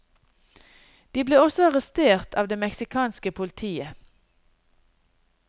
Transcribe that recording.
De ble også arrestert av det meksikanske politiet.